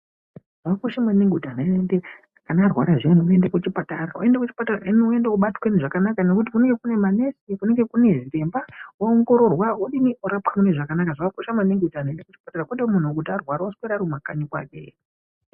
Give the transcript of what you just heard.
Zvakakosha maningi kuti anhu arwara zviya aende kuchipatara panoenda kuchipatara anobatwa zvakanaka ngekuti kunenge kune manesi kunenge kune zviremba oongororwa odini orapwa mune zvakanaka zvakakosha maningi kuti aende kuchipatara kuti muntu arwara oswera Ari kumakanyi kwake.